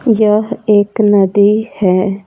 यह एक नदी है।